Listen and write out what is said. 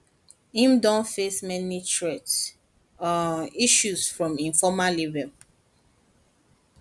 im don face many threat um issues from im former former label